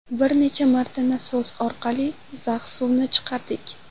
Bir necha marta nasos orqali zax suvni chiqardik.